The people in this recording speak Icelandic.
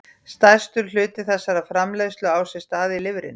Stærstur hluti þessarar framleiðslu á sér stað í lifrinni.